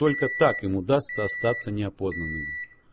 только так им удастся остаться неопознанными